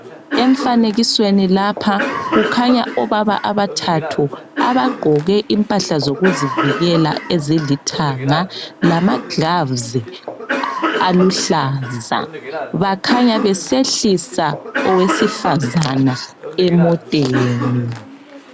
Emfanekisweni lapha kukhanya obaba abathathu abagqoke impahla zokuzivikela ezilithanga lama gloves aluhlaza bakhanya besehlisa owesifazana emoteni